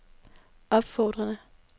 opfordrede